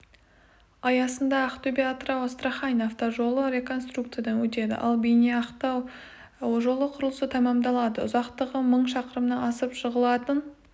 аясында ақтөбе-атырау-астарахань автожолы реконструкциядан өтеді ал бейнеу-ақтау жолы құрылысы тәмамдалады ұзақтығы мың шақырымнан асып жығылатын